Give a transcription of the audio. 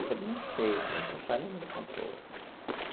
Eu falei, não sei, filha, um passarinho me contou.